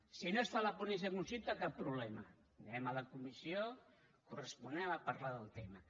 si no es fa la ponència conjunta cap problema anem a la comissió corresponent a parlar del tema